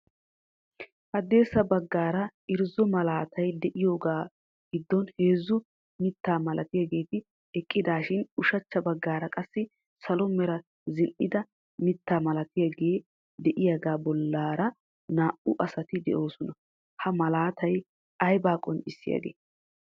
Haddirssa baggaara irjzzo malaatay diyaagaa giddon heezzu mittaa malatiyaageti eqqidaashin ushachcha baggaara qassi salo mera zin"ida mittaa malatiyaagee de"iyaagaa bollaara naa"u asati de'oosona. Ha malaatay aybaa qonccissiyaage?